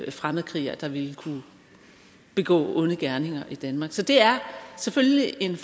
fremmedkrigere der ville kunne begå onde gerninger i danmark så det er selvfølgelig en